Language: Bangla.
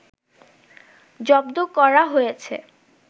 জব্দ করা হয়েছে